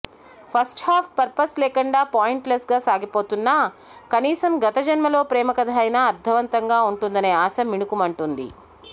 first half purpose లేకుండా పాయింట్లెస్గా సాగిపోతున్నా కనీసం గత జన్మలో ప్రేమకథ అయినా అర్ధవంతంగా వుంటుందనే ఆశ మిణుకుమంటుంది